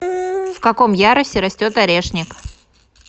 в каком ярусе растет орешник